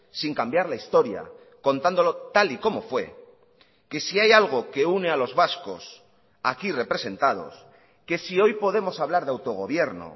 sin cambiar la historia contándolo tal y como fue que si hay algo que une a los vascos aquí representados que si hoy podemos hablar de autogobierno